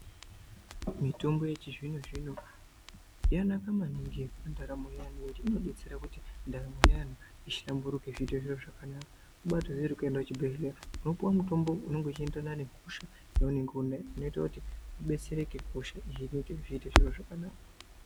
Mitombo yechizvinozvino yakanaka maningi mundaramo yevantu ngekuti inodetsera kuti ndaramo yevantu ihlamburuke ziite zviro zvakanaka. Kubatoziya kuti kuenda kuchibhedhleya unopuwa mitombo unenge uchienderana nehosha yaunenge unayo inoita kuti kudetsereke hosha iyi iite zviro zvakanaka.